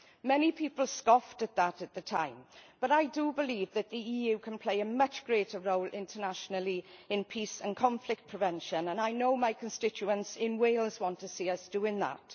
Many people scoffed at that at the time, but I do believe that the EU can play a much greater role internationally in peace and conflict prevention, and I know my constituents in Wales want to see us doing that.